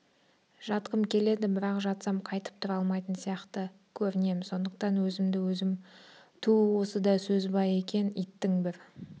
жатқым келеді бірақ жатсам қайтіп тұра алмайтын сияқты көрінем сондықтан өзімді-өзім түу осы да сөз бе екен иттің бір